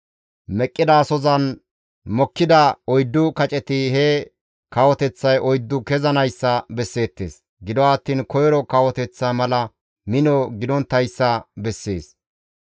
Meqqidasozan mokkida oyddu kaceti he kawoteththay oyddu kezanayssa besseettes; gido attiin koyro kawoteththa mala mino gidonttayssa bessees.